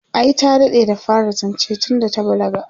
ai ta daɗe da fara zance tunda ta balaga